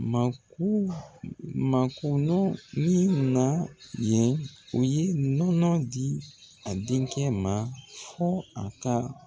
Mako makonɔni na yen, u ye nɔnɔ di a denkɛ ma fo a ka